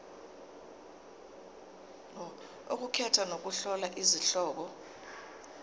ukukhetha nokuhlola izihloko